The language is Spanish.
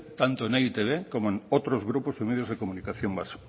tanto en e i te be como otros grupos y medios de comunicación vascos